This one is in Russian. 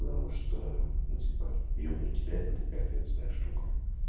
что у тебя люблю тебя это ты ответственная штука